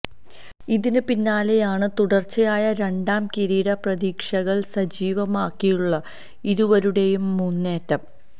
ഇതിന് പിന്നാലെയാണ് തുടര്ച്ചയായ രണ്ടാം കിരീട പ്രതീക്ഷകള് സജീവമാക്കിയുള്ള ഇരുവരുടെയും മുന്നേറ്റം